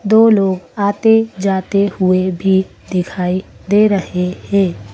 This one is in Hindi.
दो लोग आते-जाते हुए भी दिखाई दे रहे हैं।